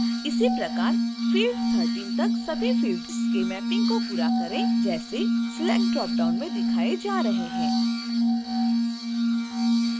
इसी प्रकार field 13तक सभी फिल्ड्स के मैपिंग को पूरा करें जैसे select ड्रॉप डाउन में दिखाए जा रहे हैं